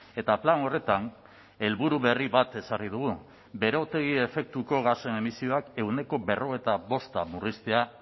eta plan horretan helburu berri bat ezarri dugu berotegi efektuko gasen emisioak ehuneko berrogeita bosta murriztea